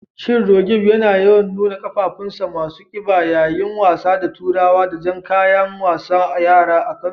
Shin Roqeeb yana yawan nuna qafafunsa masu kiba yayin wasa da turawa da jan kayan wasan yara a Kano